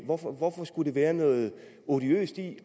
hvorfor hvorfor skulle der være noget odiøst i